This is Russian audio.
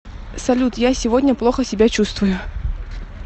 салют я сегодня плохо себя чувствую